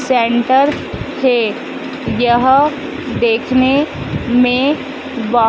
Centre थे। यह देखने में बहोत--